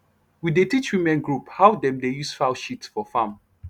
we dey teach women group how dem dey use fowl shit for farm